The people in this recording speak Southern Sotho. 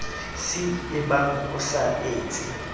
c ebang o sa etse